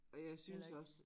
Og jeg synes også